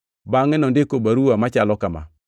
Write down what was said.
Bangʼe nondiko baruwa machalo kama: